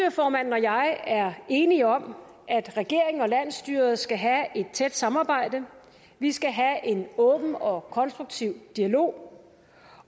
og jeg er enige om at regeringen og landsstyret skal have et tæt samarbejde vi skal have en åben og konstruktiv dialog